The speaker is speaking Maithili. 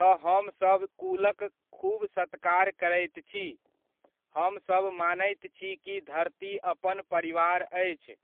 तऽ हमसब कुलक खूब सत्कार करैत छी, हमसब मानैत छी कि धरती अपन परिवार अछि।